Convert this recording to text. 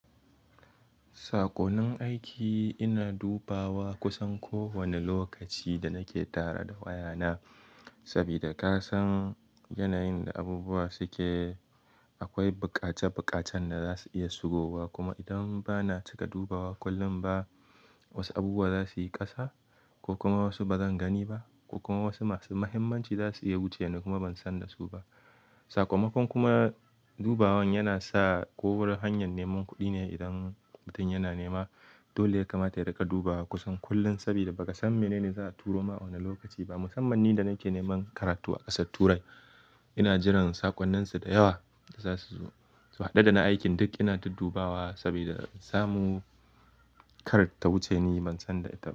Saƙonin aiki ina dubawa kusan kowane lokaci da nake tara da wayana. Saboda ka san yanayin da abubuwa suke, akwai buƙace buƙacen da za su iya shigowa. Kuma idan ba na cika dubawa kullum ba, wasu abubuwa za su yi ƙasa ko kuma wasu ba zan gani ba, ko kuma wasu masu muhimmanci za su iya wuce ni kuma ban san da su ba. Sakamakon kuma dubawan yana sa ko wurin hanyar neman kuɗi ne idan mutum yana nema. Dole ya kamata yai daga dubawa kusan kullum. Saboda ba ka san menene za a turo ma a wane lokaci ba. Musamman ni da nake neman karatu a ƙasar Turai, ina jiran saƙonninsu da yawa da za su zo. So haɗe da na aikin duk ina ta duddubawa saboda in samu kar ta wuce ni ban san da ita ba.